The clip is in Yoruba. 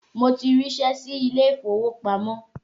Mo ti ríṣẹ́ sí ilé ìfowópamọ́